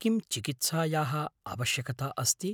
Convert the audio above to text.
किं चिकित्सायाः आवश्यकता अस्ति?